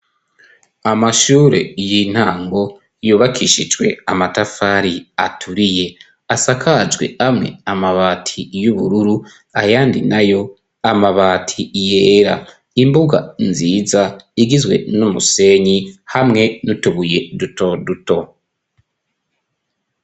Amashure y'intango yubakishijwe amatafari aturiye asakajwe amwe amabati y'ubururu ayandi nayo amabati yera. Imbuga nziza igizwe n'umusenyi hamwe n'utubuye dutoduto.